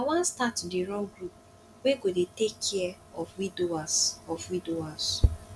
i wan start to dey run group wey go dey take care of widowers of widowers